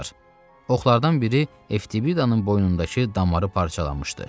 Oxlardan biri Eftibidanın boynundakı damarı parçalamışdı.